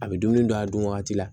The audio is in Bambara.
A bɛ dumuni don a dun wagati la